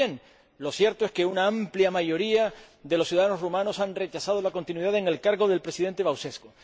Pues bien, lo cierto es que una amplia mayoría de los ciudadanos rumanos han rechazado la continuidad en el cargo del Presidente Băsescu.